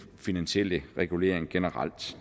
finansielle regulering generelt